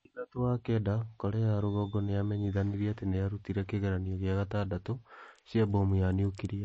Mweri thatu wa kenda Korea ya rũgongo nĩ yamenyithanirie atĩ nĩ yarutire kĩgeranio gĩa gatandatũ cia mbomu ya niukiria